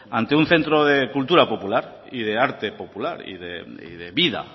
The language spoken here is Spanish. ante un centro de cultura popular y de arte popular y de vida